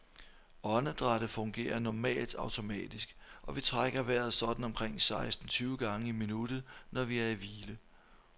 Åndedrættet fungerer normalt automatisk, og vi trækker vejret sådan omkring seksten tyve gange i minuttet, når vi er i hvile.